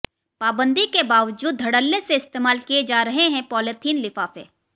पाबंदी के बावजूद धड़ल्ले से इस्तेमाल किए जा रहे हैं पॉलिथिन लिफाफे